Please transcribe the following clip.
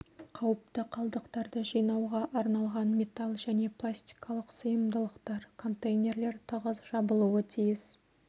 қауіпті қалдықтарды жинауға арналған металл және пластикалық сыйымдылықтар контейнерлер тығыз жабылуы тиіс